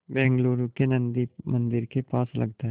बेंगलूरू के नन्दी मंदिर के पास लगता है